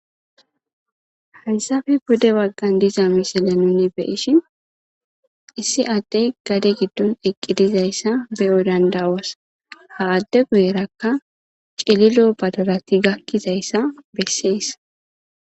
Haysape pude baggan de7iza misileza nuuni be7ishin issi addee gade giddon iqqidi zayssa be7o dandda7os; ha adde guyeerakka cililo badalathi gakki zayssa bessees.